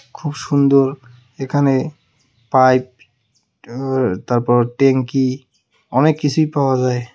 খুব সুন্দর এখানে পাইপ ওর তারপর টেংকি অনেক কিছুই পাওয়া যায়.